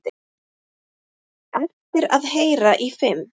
Eftir að heyra í fimm